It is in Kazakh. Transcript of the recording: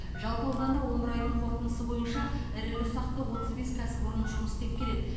жалпы ауданда он бір айдың қорытындысы бойынша ірілі ұсақты отыз бес кәсіпорын жұмыс істеп келеді